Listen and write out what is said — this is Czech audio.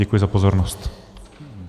Děkuji za pozornost.